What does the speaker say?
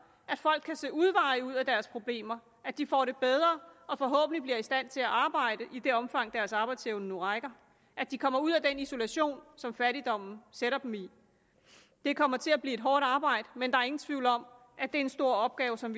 at folk kan se udveje ud af deres problemer at de får det bedre og forhåbentlig bliver i stand til at arbejde i det omfang deres arbejdsevne nu rækker at de kommer ud af den isolation som fattigdommen sætter dem i det kommer til at blive et hårdt arbejde men der er ingen tvivl om at det er en stor opgave som